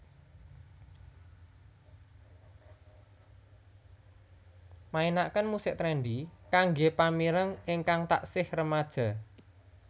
mainaken musik trendy kanggé pamireng ingkang taksih remaja